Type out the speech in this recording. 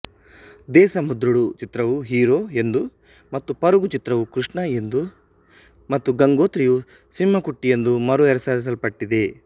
ದೇಸಮುದ್ರುಡು ಚಿತ್ರವು ಹೀರೋ ಎಂದು ಮತ್ತು ಪರುಗು ಚಿತ್ರವು ಕೃಷ್ಣ ಎಂದು ಮತ್ತು ಗಂಗೋತ್ರಿಯು ಸಿಂಹಕುಟ್ಟಿ ಎಂದು ಮರುಹೆಸರಿಸಲ್ಪಟ್ಟಿದೆ